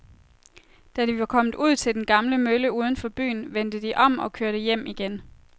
Da de var kommet ud til den gamle mølle uden for byen, vendte de om og kørte hjem igen.